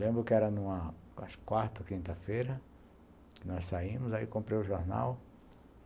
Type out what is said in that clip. Lembro que era no quarto, quinta-feira, nós saímos, aí comprei o jornal.